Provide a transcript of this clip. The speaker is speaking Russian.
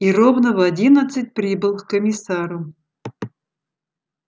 и ровно в одиннадцать прибыл к комиссару